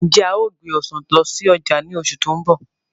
Ǹjẹ́ a ó gbé Ọ̀sán lọ sí ọjà ni oṣù tó ń bọ̀?